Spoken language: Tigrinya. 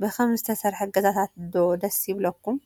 ብከምዚ ዝተሰርሐ ገዛታት ዶ ደስ ይብለኩም?